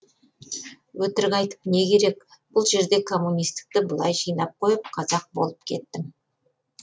өтірік айтып не керек бұл жерде коммунистікті былай жинап қойып қазақ болып кеттім